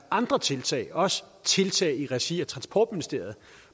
andre tiltag også tiltag i regi af transportministeriet